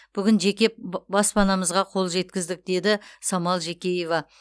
бүгін жеке б баспанамызға қол жеткіздік деді самал жекеева